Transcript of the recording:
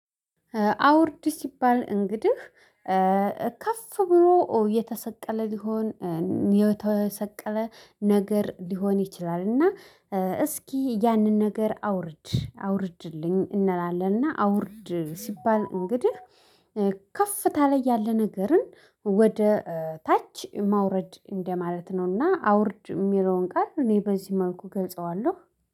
አውርድ ሲባል እንግዲህ ከፍ ብሎ የተሰቀለ ሊሆን የተሰቀለ ነገር ሊሆን ይችላል። እና እስኪ ያንን ነገር አውርድ አውርድልኝ እንላለንና። አውርድ ሲባል እንግዲህ። ከፍ ታለ ያለ ነገርን ወደ ታች ማውረድ እንደማለት ነውና አውርድ የሚለውን ቃል እኔ በዚህ መልኩ ገልጸዋለሁ